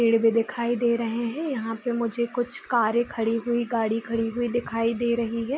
पेड़ भी दिखाई दे रहे हैं यहाँ पे मुझे कुछ कारें खड़ी हुई गाड़ी खड़ी हुई दिखाई दे रही हैं।